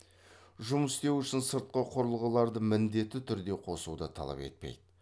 жұмыс істеу үшін сыртқы құрылғыларды міндетті түрде қосуды талап етпейді